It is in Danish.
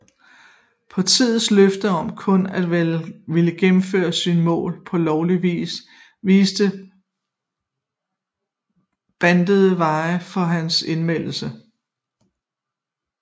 Partiets løfte om kun at ville gennemføre sine mål på lovlig vis banede vejen for hans indmeldelse